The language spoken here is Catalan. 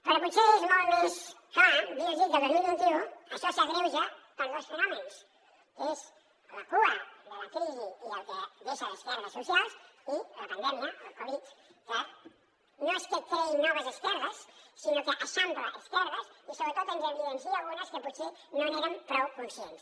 però potser és molt més clar dir los que el dos mil vint u això s’agreuja per dos fenòmens que és la cua de la crisi i el que deixa d’esquerdes socials i la pandèmia el covid que no és que creï noves esquerdes sinó que eixampla esquerdes i sobretot ens n’evidencia algunes que potser no n’érem prou conscients